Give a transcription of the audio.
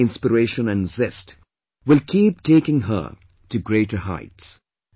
This new inspiration & zest will keep taking her to greater heights